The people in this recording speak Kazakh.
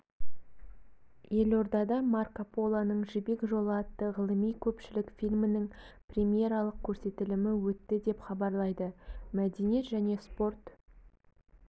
елордада марко полоның жібек жолы атты ғылыми-көпшілік фильмінің премьералық көрсетілімі өтті деп хабарлайды мәдениет және спорт